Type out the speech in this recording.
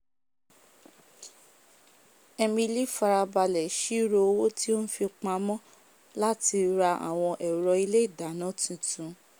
emily farabalẹ̀ sírò owó tí ó n fi pamó làti ra àwon ẹ̀ro ilé ìdáná titun